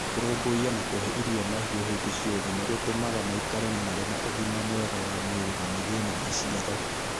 Kũrũmbũiya na kũhe irio mahiũ hĩndĩ ciothe nĩ gũtũmaga maikare marĩ na ũgima mwega wa mwĩrĩ na magĩe na maciaro.